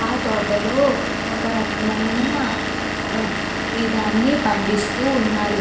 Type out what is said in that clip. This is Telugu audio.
ఆ తోటలో ఒక రకమైన పట్టి దాన్ని పండిస్తూ వున్నారు.